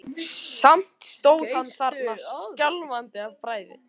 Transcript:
Samt stóð hann þarna skjálfandi af bræði.